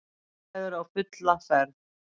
Viðræður á fulla ferð